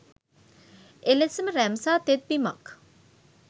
එලෙසම රැම්සා තෙත්බිමක්